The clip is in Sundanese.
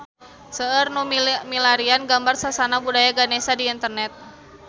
Seueur nu milarian gambar Sasana Budaya Ganesha di internet